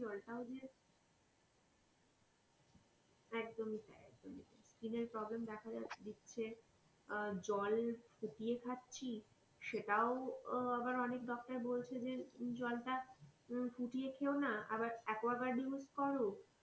একদমই তাই এএকদমই তাই skin এর problem দেখা যাচ্ছে দেখা দিচ্ছে আহ জল ফুটিয়ে খাচ্ছি আবার অনেক ডাক্তার বলছে যে উম জল তা ফুটিয়ে খেয়োনা আবার এককাগুয়ার্ড use করো.